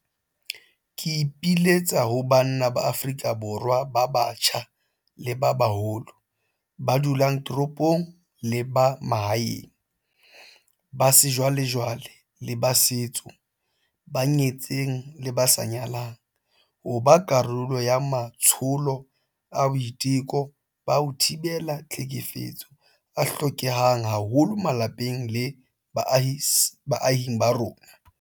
Ke ipiletsa ho banna ba Afrika Borwa ba batjha le ba baholo, ba dulang ditoropong le ba mahaeng, ba sejwalejwale le ba setso, ba nyetseng le ba sa nyalang, ho ba karolo ya matsholo a boiteko ba ho thibela tlhekefetso a hlokehang haholo malapeng le baahing ba rona.